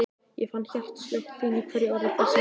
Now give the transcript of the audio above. Ég fann hjartaslög þín í hverju orði, blessuð vina mín.